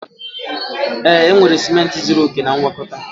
Ee, enwere ciment zuru oke na ngwakọta